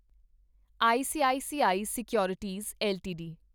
ICICI securities LTD